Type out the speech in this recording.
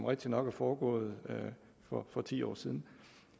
rigtigt nok er foregået for for ti år siden